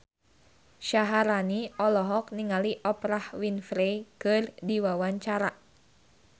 Syaharani olohok ningali Oprah Winfrey keur diwawancara